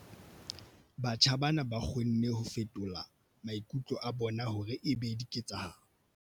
Batjha bana ba kgonne ho fetola maikutlo a bona hore e be diketsahalo.